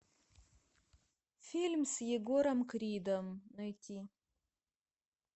фильм с егором кридом найти